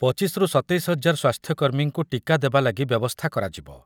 ପଚିଶ ରୁ ସତେଇଶ ହଜାର ସ୍ୱାସ୍ଥ୍ୟକର୍ମୀଙ୍କୁ ଟୀକା ଦେବା ଲାଗି ବ୍ୟବସ୍ଥା କରାଯିବ ।